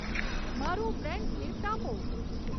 મારું friends list આપો